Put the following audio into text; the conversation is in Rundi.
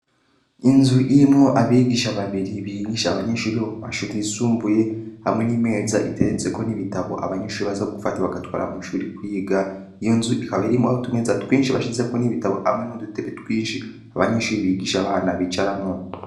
Inzu irimwo abigisha babiri bigisha abanyeshure bomumashure yisumbuye hamwe nimeza iteretse ko nibitabu abanyeshure baza gufata bagatwara mwishure kwiga iyonzu ikaba irimwo utumeza twinshi bashizeko ibitabo hamwe nudutebe twinshi abanyeshure bigisha abana bicarako.